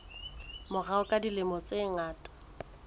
morao ka dilemo tse ngata